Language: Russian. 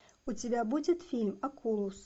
у тебя будет фильм окулус